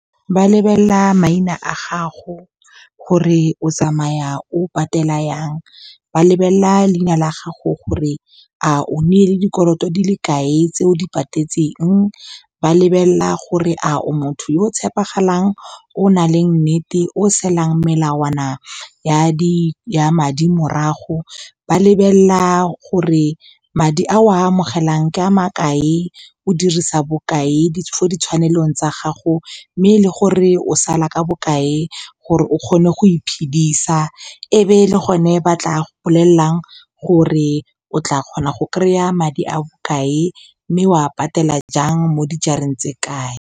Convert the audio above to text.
Ba lebella maina a gago gore o tsamaya o patela yang. Ba lebelelela leina la gago gore a o nnile dikoloto di le kae tse o di patatseng. Ba lebelelela gore a o motho yo o tshepegalang, o nang le nnete, o salang melawana ya madi morago. Ba lebelelela gore madi a o a amogelang ke a ma kae, o dirisa bokae ko tshwanelong tsa gago, mme le gore o sala ka bokae gore o kgone go iphedisa. Ebe le gone, ba tla bolelelang gore o tla kgona go kry-a madi a bokae mme o a patela jang mo dijareng tse kae.